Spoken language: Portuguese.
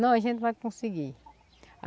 Não, a gente vai conseguir.